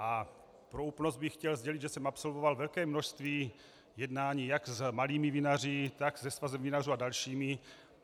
A pro úplnost bych chtěl sdělit, že jsem absolvoval velké množství jednání jak s malými vinaři, tak se Svazem vinařů a dalšími.